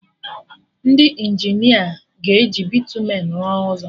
Ndị Injinia ga-eji bịtumen rụọ ụzọ